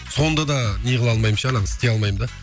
сонда да неғыла алмаймын ше ананы істей алмаймын да